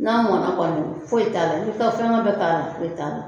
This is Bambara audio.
N'a mɔna kɔni foyi t'a la, n'i ka fɛngɛ bɛɛ k'a la foyi t'a la.